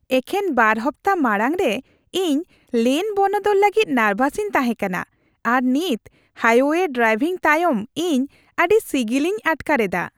ᱮᱠᱷᱮᱱ ᱵᱟᱨ ᱦᱟᱯᱛᱟ ᱢᱟᱲᱟᱝᱨᱮ, ᱤᱧ ᱞᱮᱱ ᱵᱚᱱᱚᱫᱚᱞ ᱞᱟᱹᱜᱤᱫ ᱱᱟᱨᱵᱷᱟᱥᱤᱧ ᱛᱟᱦᱮᱸ ᱠᱟᱱᱟ, ᱟᱨ ᱱᱤᱛ ᱦᱟᱭᱳᱭᱮ ᱰᱨᱟᱝᱵᱷᱤᱝ ᱛᱟᱭᱚᱢ ᱤᱧ ᱟᱹᱰᱤ ᱥᱤᱜᱤᱞᱤᱧ ᱟᱴᱠᱟᱨ ᱮᱫᱟ ᱾